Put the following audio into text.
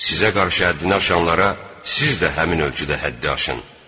Sizə qarşı həddini aşanlara siz də həmin ölçüdə həddi aşın.